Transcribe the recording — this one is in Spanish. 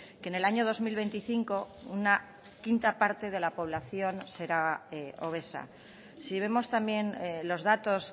que en el año dos mil veinticinco una quinta parte de la población será obesa si vemos también los datos